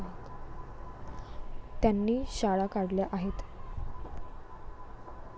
त्यांनी शाळा काढल्या आहेत.